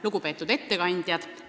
Lugupeetud ettekandjad!